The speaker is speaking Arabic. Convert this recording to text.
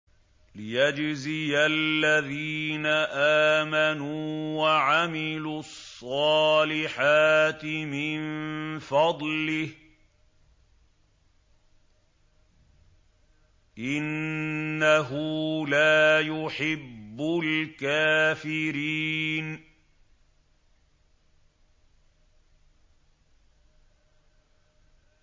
لِيَجْزِيَ الَّذِينَ آمَنُوا وَعَمِلُوا الصَّالِحَاتِ مِن فَضْلِهِ ۚ إِنَّهُ لَا يُحِبُّ الْكَافِرِينَ